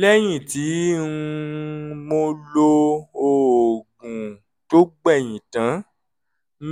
lẹ́yìn tí um mo lo oògùn tó gbẹ̀yìn tán